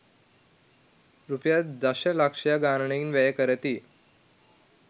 රුපියල් දශ ලක්ෂ ගණනින් වැය කරති.